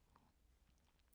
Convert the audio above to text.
TV 2